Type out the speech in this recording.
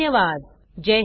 सहभागासाठी धन्यवाद